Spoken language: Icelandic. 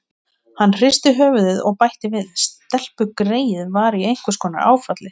Hann hristi höfuðið og bætti við: Stelpugreyið var í einhvers konar áfalli.